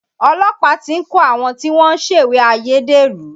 Olọ́pàá ti ń kò àwọn tí wọ́n ń ṣèwé ayédèrú